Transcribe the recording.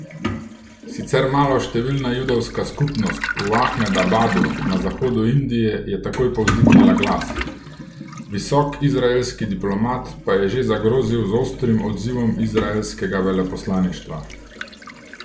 Sicer maloštevilna judovska skupnost v Ahmedabadu na zahodu Indije je takoj povzdignila glas, visok izraelski diplomat pa je že zagrozil z ostrim odzivom izraelskega veleposlaništva.